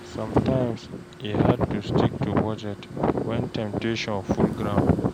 Somtimes e hard to stick to budget wen temptation full ground